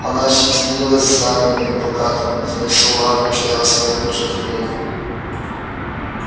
она щетинилась знамёнами и плакатами где на все лады повторялось одно и то же обвинение